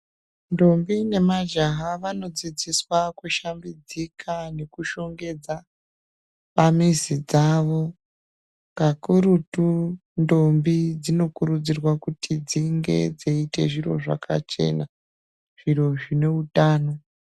Ntombi nemajaha vanodzidziswa kushambidzika nekushongedza pamizi dzavo kakurutu ntombi dzinokurudzirwa kuti dzinge dziita zviro zvakachena zviro zvineutano.